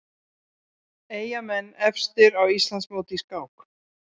Eyjamenn efstir á Íslandsmóti í skák